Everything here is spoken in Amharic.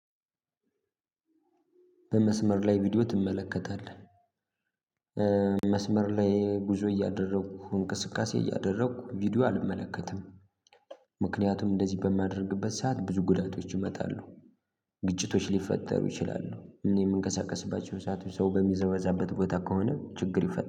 በመስመር ላይ ቪዲዮ ትመለከታለህ? መስመር ላይ ጉዞ እያደረኩ እንቅስቃሴ እያደረኩ ቪዲዮ አልመለከትም። ምክንያቱም እንደዚህ በማደርግበት ሰዓት ብዙ ጉዳቶች ይመጣሉ። ግጭቶች ሊፈጠሩ ይችላሉ። እኔ የምንቀሳቀስባቸው ሰዓት ሰው በሚዘዋዛበት ቦታ ከሆነ ችግር ይፈጥራል